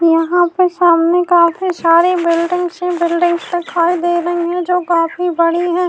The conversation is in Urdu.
یہاں پر کافی سارے بیلدنگس ہی بیلدنگس دکھائی دے رہی ہے جو کافی بڑی ہے۔